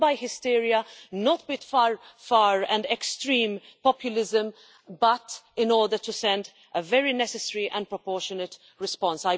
Not with hysteria, not with far and extreme populism, but in order to send a very necessary and proportionate response.